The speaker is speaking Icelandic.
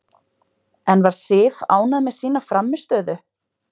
En var Sif ánægð með sína frammistöðu?